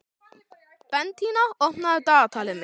Bentína, opnaðu dagatalið mitt.